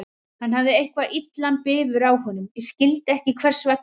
Hann hafði eitthvað illan bifur á honum, ég skildi ekki hvers vegna.